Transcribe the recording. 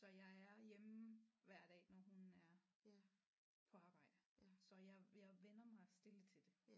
Så er jeg er hjemme hver dag når hun er på arbejde så jeg jeg vænner mig stille til det